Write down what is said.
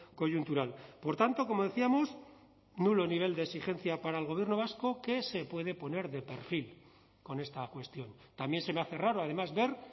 coyuntural por tanto como decíamos nulo nivel de exigencia para el gobierno vasco que se puede poner de perfil con esta cuestión también se me hace raro además ver